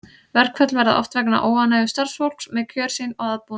Verkföll verða oft vegna óánægju starfsfólks með kjör sín og aðbúnað.